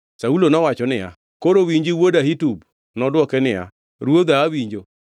Saulo nowacho niya, “Koro winji wuod Ahitub.” Nodwoke niya, “Ruodha awinjo.”